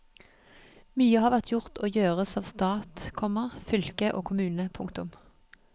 Mye har vært gjort og gjøres av stat, komma fylke og kommune. punktum